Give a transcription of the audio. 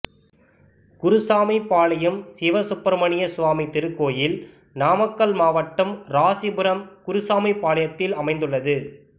குருசாமிபாளையம் சிவசுப்ரமணிய சுவாமி திருக்கோயில் நாமக்கல் நாமக்கல் மாவட்டம் ராசிபுரம் குருசாமிபாளையம் ல் அமைந்துள்ளது